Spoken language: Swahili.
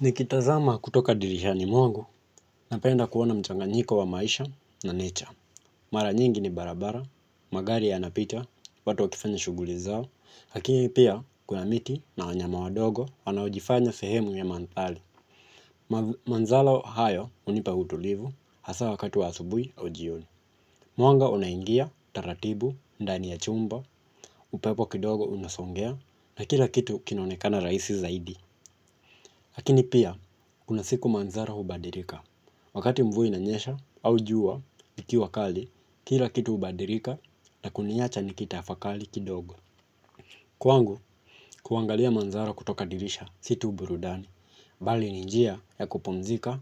Nikitazama kutoka dirishani mwangu napenda kuona mchanganyiko wa maisha na nature. Mara nyingi ni barabara, magari yanapita, watu wakifanya shughuli zao, lakini pia kuna miti na wanyama wadogo wanaojifanya sehemu ya mandhari. Mandhalo hayo hunipa utulivu hasa wakati wa asubuhi au jioni. Mwanga unaingia, taratibu, ndani ya chumba, upepo kidogo unasongea na kila kitu kinaonekana rahisi zaidi. Lakini pia, kuna siku mandhari hubadilika. Wakati mvua inanyesha au jua, likiwa kali, kila kitu hubadilika na kuniacha nikitafakari kidogo. Kwangu, kuangalia mandhari kutoka dirisha si tu burudani, bali ni njia ya kupumzika